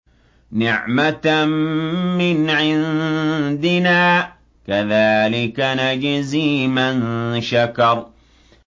نِّعْمَةً مِّنْ عِندِنَا ۚ كَذَٰلِكَ نَجْزِي مَن شَكَرَ